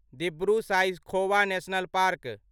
Dibru Saikhowa national park